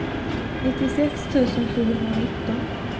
nittiosex tusen sjuhundranitton